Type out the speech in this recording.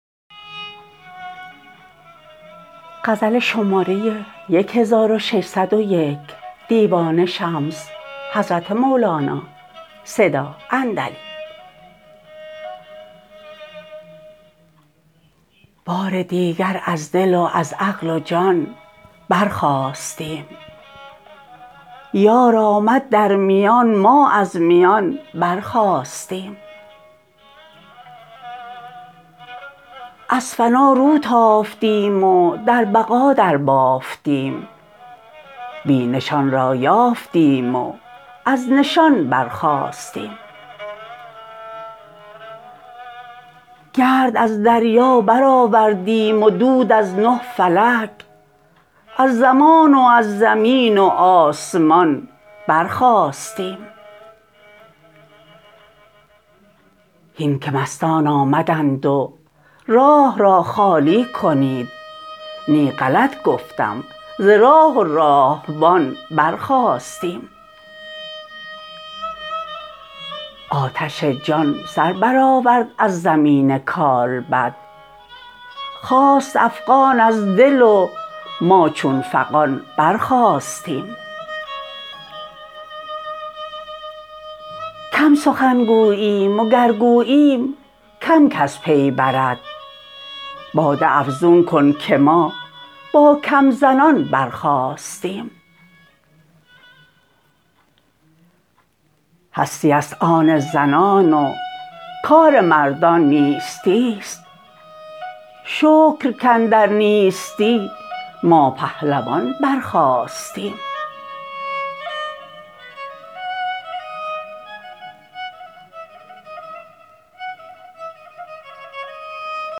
بار دیگر از دل و از عقل و جان برخاستیم یار آمد در میان ما از میان برخاستیم از فنا رو تافتیم و در بقا دربافتیم بی نشان را یافتیم و از نشان برخاستیم گرد از دریا برآوردیم و دود از نه فلک از زمان و از زمین و آسمان برخاستیم هین که مستان آمدند و راه را خالی کنید نی غلط گفتم ز راه و راهبان برخاستیم آتش جان سر برآورد از زمین کالبد خاست افغان از دل و ما چون فغان برخاستیم کم سخن گوییم وگر گوییم کم کس پی برد باده افزون کن که ما با کم زنان برخاستیم هستی است آن زنان و کار مردان نیستی است شکر کاندر نیستی ما پهلوان برخاستیم